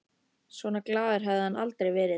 Svona glaður hafði hann aldrei verið.